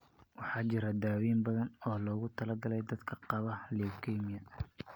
Waxaa jira daweyn badan oo loogu talagalay dadka qaba leukemia.